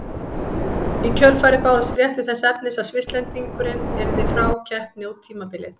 Í kjölfarið bárust fréttir þess efnis að Svisslendingurinn yrði frá keppni út tímabilið.